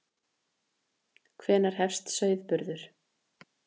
Hvenær hefst sauðburður?